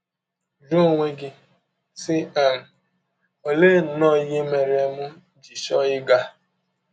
Jụọ onwe gị, sị um: ‘ Ọlee nnọọ ihe mere m ji chọọ ịga?